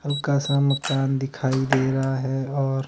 हल्का सा मकान दिखाई दे रहा है और--